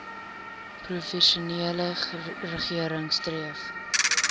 provinsiale regering streef